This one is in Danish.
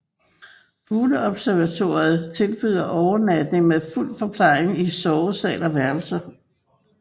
Fugleobservatoriet tilbyder overnatning med fuld forplejning i sovesal og værelser